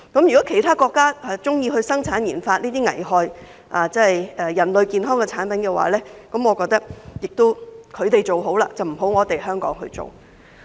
如果其他國家喜歡生產研發這些危害人類健康的產品的話，我認為他們做便可以，香港不要做。